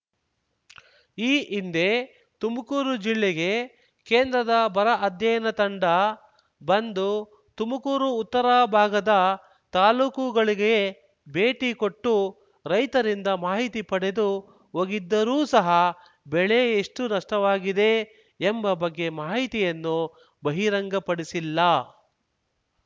ಈ ಹಿಂದೆ ತುಮಕೂರು ಜಿಲ್ಲೆಗೆ ಕೇಂದ್ರದ ಬರ ಅಧ್ಯಯನ ತಂಡ ಬಂದು ತುಮುಕೂರು ಉತ್ತರ ಭಾಗದ ತಾಲೂಕುಗಳಿಗೆ ಭೇಟಿ ಕೊಟ್ಟು ರೈತರಿಂದ ಮಾಹಿತಿ ಪಡೆದು ಹೋಗಿದ್ದರೂ ಸಹ ಬೆಳೆ ಎಷ್ಟುನಷ್ಟವಾಗಿದೆ ಎಂಬ ಬಗ್ಗೆ ಮಾಹಿತಿಯನ್ನು ಬಹಿರಂಗಪಡಿಸಿಲ್ಲ